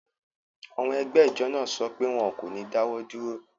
Àwọn ẹgbẹ́ ijọ naa sọ pé wọn kò ní dáwọ̀ dúró